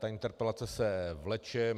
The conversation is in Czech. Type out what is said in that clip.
Ta interpelace se vleče.